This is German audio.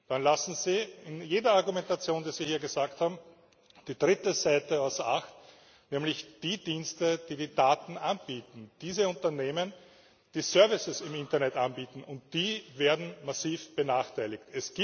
Dann lassen sie in jeder Argumentation, die sie hier vorgebracht haben, die dritte Seite außer Acht, nämlich die Dienste, die die Daten anbieten, die Unternehmen, die Services im Internet anbieten, und die werden massiv benachteiligt.